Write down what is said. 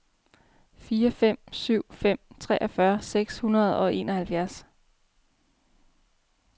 fire fem syv fem treogfyrre seks hundrede og enoghalvfems